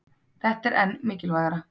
Þetta er enn mikilvægara